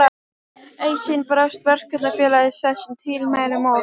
Eitt sinn brást Verkakvennafélagið þessum tilmælum og